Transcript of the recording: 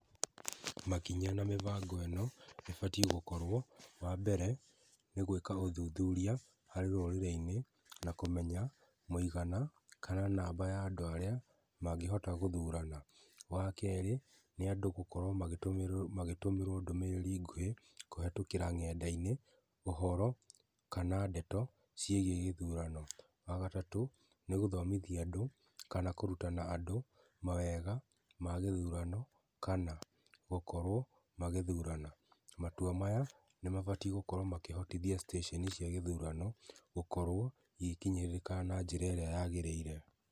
Makinya na mĩbango ĩno ĩbatiĩ gũkorwo. Wambere nĩ gwĩka ũthuthuria harĩ rũrĩrĩ-inĩ na kũmenya mũigana kana namba ya andũ arĩa mangĩhota gũthurana. Wakerĩ nĩ andũ gũkorwo magĩtũmĩro, magĩtũmĩrwo ndũmĩrĩri nguhĩ kũhetũkĩra ng'enda-inĩ ũhoro kana ndeto ciĩgiĩ gĩthurano. Wagatatũ nĩ gũthomithia andũ kana kũrutana andũ mawega ma gĩthurano kana gũkorwo magĩthurana. Matua maya nĩmabatiĩ gũkorwo makĩhotithia station cia gĩthurano gũkorwo igĩkinyĩrĩka na njĩra ĩrĩa yagĩrĩire.